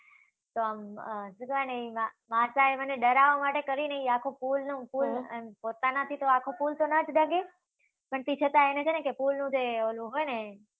તો આમ, શું જાણે ઈના માસા એ મને ડરાવવા માટે કરીને ઈ આખો પુલનો, પોતાનાથી તો આખો પુલ તો નો જ ડગે. પણ તી છતા એણે છે ને કે પુલનું જે ઓલુ હોય ને,